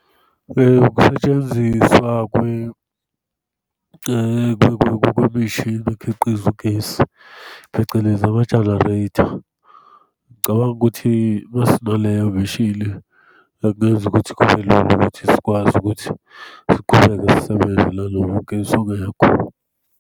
Ukusetshenziswa kwemishini ekhiqiza ugesi, phecelezi amajanareytha. Ngicabanga ukuthi uma sinaleyo mishile, akuyenzi ukuthi kube lula ukuthi sikwazi ukuthi siqhubeke sisebenzela nanoma ugesi ungekho.